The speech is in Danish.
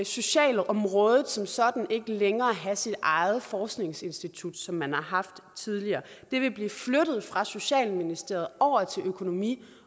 socialområdet som sådan ikke længere have sit eget forskningsinstitut som man har haft tidligere det vil blive flyttet fra socialministeriet over til økonomi